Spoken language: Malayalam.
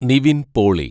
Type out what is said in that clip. നിവിന്‍ പോളി